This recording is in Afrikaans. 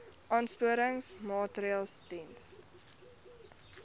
aansporingsmaatre ls diens